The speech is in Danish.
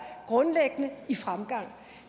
grundlæggende i fremgang